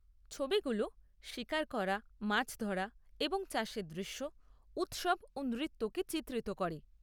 ছবিগুলো শিকার করা, মাছ ধরা এবং চাষের দৃশ্য, উৎসব ও নৃত্যকে চিত্রিত করে।